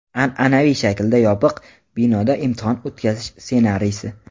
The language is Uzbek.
an’anaviy shaklda yopiq binoda imtihon o‘tkazish ssenariysi.